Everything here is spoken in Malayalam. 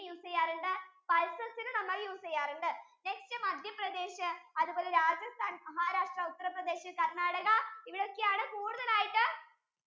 use ചെയ്യാറുണ്ട്? pulses ഇനെ use ചെയ്യാറുണ്ട് nextMadhyapradesh അതുപോലെ Rajasthan, Maharashtra, UttarPradesh, Karnataka ഇവിടെ ഒക്കെ ആണ് കൂടുതൽ ആയിട്ടു